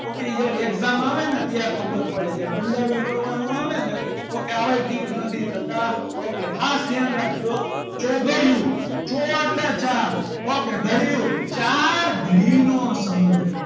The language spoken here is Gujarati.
Okay જ્યારે exam આવે ને ત્યારે ખબર પડે છે કુંડાળું કરવાનું આવે ને તો કે આવા tick નથી થતા ok ખાસ ધ્યાન રાખજો ચોઘડિયું ચો એટલે ચાર ok ઘડ્યું ચાર ઘડી નો સમૂહ.